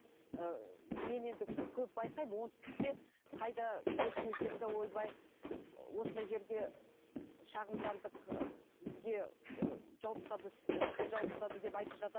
ыыы мен енді көп байқаймын оңтүстікте қайда естімесем де ойбай осындай жерге шағымдандық ы бізге ы жауып тастады істі жауып тастады деп айтып жатады